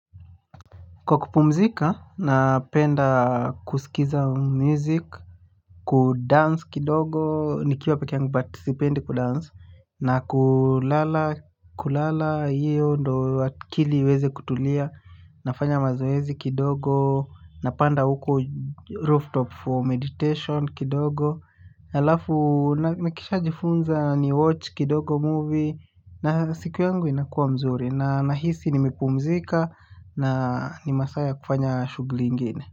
Kwa kupumzika, napenda kusikiza music, kudance kidogo, nikiwa peke yangu but sipendi kudance, na kulala, kulala, iyo ndo kili weze kutulia, nafanya mazoezi kidogo, napanda uko rooftop for meditation kidogo. Alafu nakisha jifunza ni watch kidogo movie na siku yangu inakuwa mzuri na nahisi nimepumzika na ni masaa ya kufanya shughuli ingine.